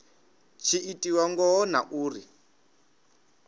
tshi itiwa ngaho na uri